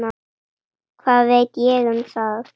Hvað veit ég um það?